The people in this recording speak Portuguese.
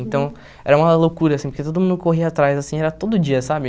Então, era uma loucura, assim, porque todo mundo corria atrás, assim, era todo dia, sabe?